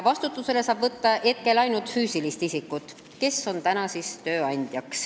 Vastutusele saab praegu võtta ainult füüsilist isikut, kes on tööandja.